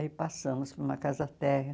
Aí passamos para uma casa térrea